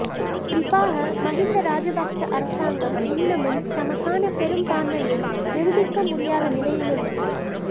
குறிப்பாக மகிந்த ராஜபக்ச அரசாங்கம் இன்னமும் தமக்கான பெரும்பான்மையை நிரூபிக்க முடியாத நிலையிலுள்ளது